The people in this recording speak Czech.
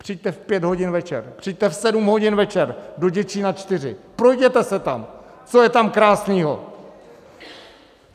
Přijďte v pět hodin večer, přijďte v sedm hodin večer do Děčína IV, projděte se tam, co je tam krásnýho.